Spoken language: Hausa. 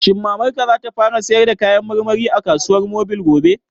Shin Mamar ka za ta fara sayar da kayan marmari a kasuwar mobil gobe?